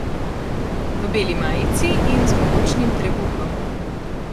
V beli majici in z mogočnim trebuhom.